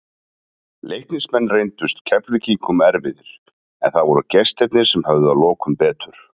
Leiknismenn reyndust Keflvíkingum erfiðir, en það voru gestirnir sem höfðu að lokum betur.